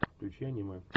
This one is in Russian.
включи аниме